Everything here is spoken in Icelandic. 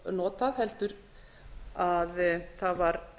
notað heldur að það var